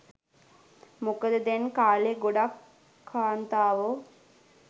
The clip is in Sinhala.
මොකද දැන් කාලෙ ගොඩක් කාන්තාවො